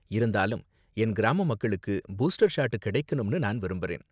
இருந்தாலும், என் கிராம மக்களுக்கு பூஸ்டர் ஷாட் கிடைக்கணும்னு நான் விரும்பறேன்.